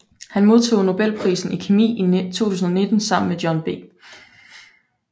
Han modtog nobelprisen i kemi i 2019 sammen med John B